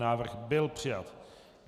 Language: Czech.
Návrh byl přijat.